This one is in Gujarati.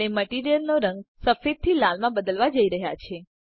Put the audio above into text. આપણે મટીરીયલ નો રંગ સફેદ થી લાલમાં બદલવા જઈ રહ્યા છે